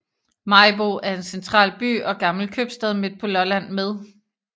Maribo er en central by og gammel købstad midt på Lolland med